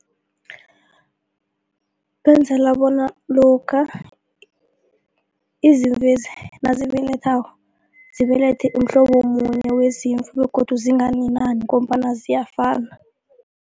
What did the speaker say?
Benzela bona lokha izimvezi nazibeletheko zibelethe umhlobo munye wezimvu begodu zinganinani ngombana ziyafana.